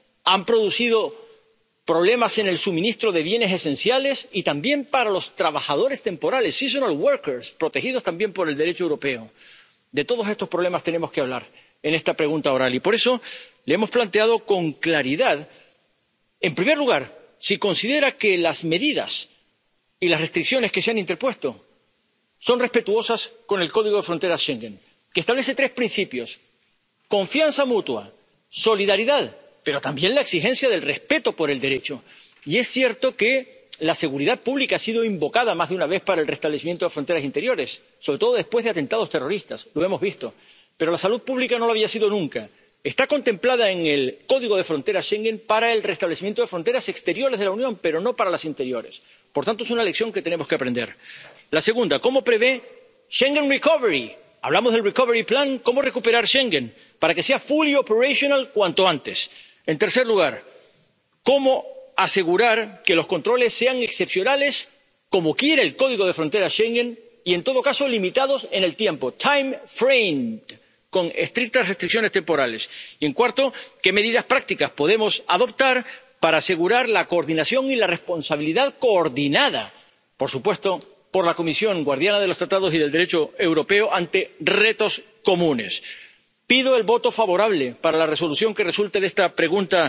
policial, han producido problemas en el suministro de bienes esenciales y también para los trabajadores temporeros seasonal workers protegidos también por el Derecho europeo. De todos estos problemas tenemos que hablar en esta pregunta oral y por eso le hemos planteado con claridad, en primer lugar, si considera que las medidas y las restricciones que se han interpuesto son respetuosas con el Código de Fronteras Schengen, que establece tres principios confianza mutua, solidaridad, pero también la exigencia del respeto del Derecho. Y es cierto que la seguridad pública ha sido invocada más de una vez para el restablecimiento de fronteras interiores, sobre todo después de atentados terroristas. Lo hemos visto. Pero la salud pública no lo había sido nunca. Está contemplada en el Código de Fronteras Schengen para el restablecimiento de fronteras exteriores de la Unión, pero no para las interiores por tanto, es una lección que tenemos que aprender. La segunda, ¿cómo prevé Schengen recovery Hablamos del recovery plan ¿Cómo recuperar Schengen para que sea fully operational cuanto antes? En tercer lugar, ¿cómo asegurar que los controles sean excepcionales, como quiere el Código de Fronteras Schengen, y en todo caso limitados en el tiempo, time framed con estrictas restricciones temporales? Y, en cuarto lugar, ¿qué medidas prácticas podemos adoptar para asegurar la coordinación y la responsabilidad, coordinadas, por supuesto, por la Comisión —guardiana de los Tratados y del Derecho europeo—, ante retos comunes. Pido el voto favorable para la Resolución